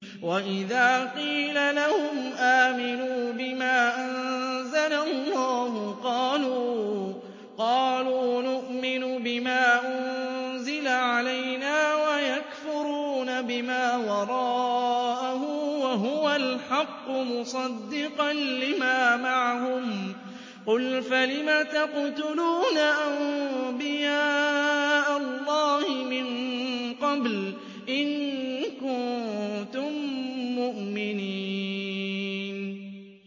وَإِذَا قِيلَ لَهُمْ آمِنُوا بِمَا أَنزَلَ اللَّهُ قَالُوا نُؤْمِنُ بِمَا أُنزِلَ عَلَيْنَا وَيَكْفُرُونَ بِمَا وَرَاءَهُ وَهُوَ الْحَقُّ مُصَدِّقًا لِّمَا مَعَهُمْ ۗ قُلْ فَلِمَ تَقْتُلُونَ أَنبِيَاءَ اللَّهِ مِن قَبْلُ إِن كُنتُم مُّؤْمِنِينَ